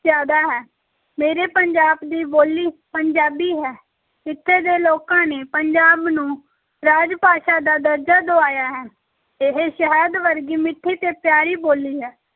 ਜ਼ਿਆਦਾ ਹੈ, ਮੇਰੇ ਪੰਜਾਬ ਦੀ ਬੋਲੀ ਪੰਜਾਬੀ ਹੈ, ਇੱਥੇ ਦੇ ਲੋਕਾਂ ਨੇ ਪੰਜਾਬ ਨੂੰ ਰਾਜ-ਭਾਸ਼ਾ ਦਾ ਦਰਜਾ ਦੁਆਇਆ ਹੈ, ਇਹ ਸ਼ਹਿਦ ਵਰਗੀ ਮਿੱਠੀ ਤੇ ਪਿਆਰੀ ਬੋਲੀ ਹੈ।